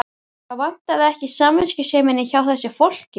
Það vantaði ekki samviskusemina hjá þessu fólki.